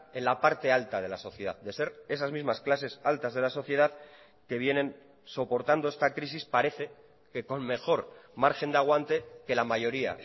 en la parte alta de la sociedad de ser esas mismas clases altas de la sociedad que vienen soportando esta crisis parece que con mejor margen de aguante que la mayoría